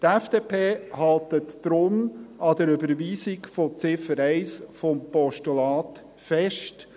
Die FDP hält deshalb an der Überweisung von Ziffer 1 des Postulats fest.